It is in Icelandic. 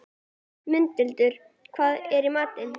Mundhildur, hvað er í matinn?